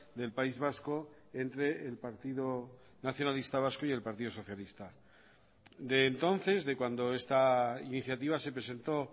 del país vasco entre el partido nacionalista vasco y el partido socialista de entonces de cuando esta iniciativa se presentó